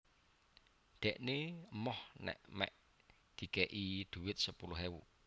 Dhekne emoh nek mek dikek i duit sepuluh ewu